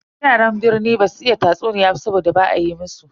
Yaran birni basu iya tatsuniya ba saboda ba a yi musu.